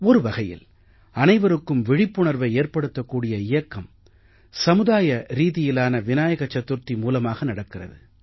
ஒரு வகையில் அனைவருக்கும் விழிப்புணர்வை ஏற்படுத்தக் கூடிய இயக்கம் சமூகரீதியிலான விநாயக சதுர்த்தி மூலமாக நடக்கிறது